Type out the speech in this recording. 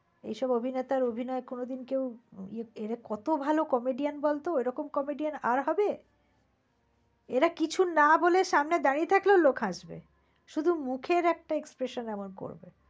এইসব অভিনেতার অভিনয় কোন দিন কেউ ~ কত ভাল comedian বলত। ওই রকম comedian আর হবে? এরা কিছু না বলে সামনে দাঁড়িয়ে থাকলে লোক আসবে। শুধু মুখের একটা expression এমন করবে।